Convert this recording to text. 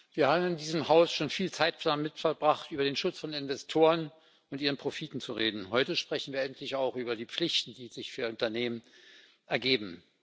Wir haben in diesem Haus schon viel Zeit damit verbracht, über den Schutz von Investoren und ihren Profiten zu reden. Heute sprechen wir endlich auch über die Pflichten, die sich für Unternehmen ergeben.